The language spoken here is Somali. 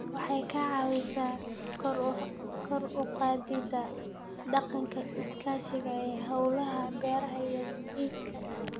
Waxay ka caawisaa kor u qaadida dhaqanka iskaashiga ee hawlaha beeraha iyo iibka.